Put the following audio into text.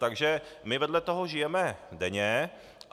Takže my vedle toho žijeme denně.